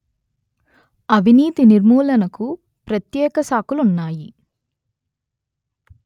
అవినీతి నిర్మూలనకు ప్రత్యేక శాఖలున్నాయి